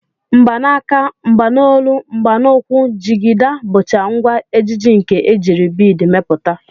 Mgbanaka, mgbanolu, mgbanukwu, jigida, bụcha ngwa ejiji nke e jiri biid mepụta